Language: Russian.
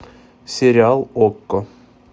сериал окко